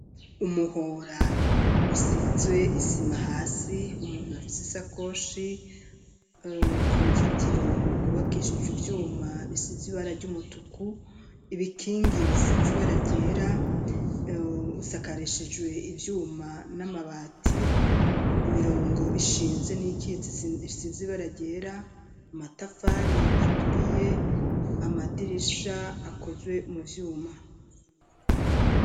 Umuhora usizwe isima hasi umuntu afite isakoshi uruzitiro gubakeshijwe ibyuma bisiz ibara ry'umutuku ibikingi bisizi baragera usakareshijwe ivyuma n'amabati imirongo ishinze n'ikitsi isizi baragera amatafari aturiye amadirisha akozwe mu vyuma.